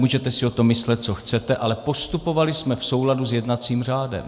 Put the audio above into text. Můžete si o tom myslet, co chcete, ale postupovali jsme v souladu s jednacím řádem.